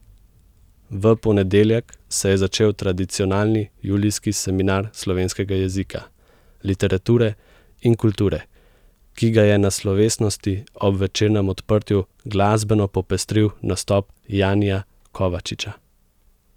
V ponedeljek se je začel tradicionalni julijski Seminar slovenskega jezika, literature in kulture, ki ga je na slovesnosti ob večernem odprtju glasbeno popestril nastop Janija Kovačiča.